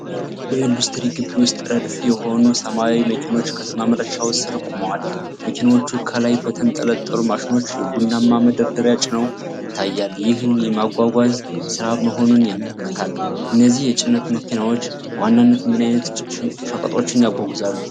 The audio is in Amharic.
በኢንዱስትሪ ግቢ ውስጥ፣ ረድፍ የሆኑ ሰማያዊ መኪኖች ከማምረቻው ስር ቆመዋል። መኪኖቹ ከላይ በተንጠለጠሉ ማሽኖች የቡናማ መዳበሪያ ጭነው ይታያል፤ ይህም የማጓጓዝ ስራ መሆኑን ያመለክታል። እነዚህ የጭነት መኪናዎች በዋናነት ምን ዓይነት ሸቀጦችን ያጓጉዛሉ?